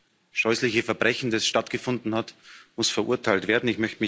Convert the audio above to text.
Dieses scheußliche Verbrechen, das stattgefunden hat, muss verurteilt werden.